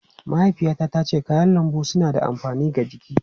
Mahaifiyata tace kayan lambu suna da amfani ga jiki.